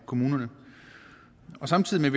kommunerne samtidig